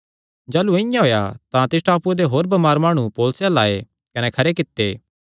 जाह़लू इआं होएया तां तिस टापूये दे होर बमार माणु पौलुसे अल्ल आये कने खरे कित्ते